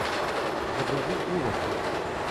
загрузи ужасы